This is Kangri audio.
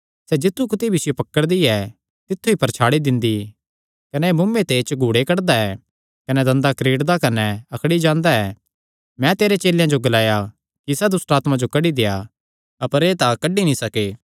सैह़ जित्थु कुत्थी भी इसियो पकड़दी ऐ तित्थु ई परछाड़ी दिंदी कने सैह़ मुँऐ ते झघूड़े कड्डदा ऐ कने दंदा क्रीड़दा कने अकड़ी जांदा ऐ कने मैं तेरे चेलेयां जो ग्लाया कि इसा दुष्टआत्मा जो कड्डी देआ अपर एह़ तां कड्डी नीं सके